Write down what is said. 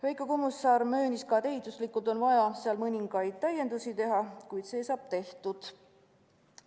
Veiko Kommusaar möönis, et ehituslikult on vaja seal mõningaid täiendusi teha, kuid see saab tehtud.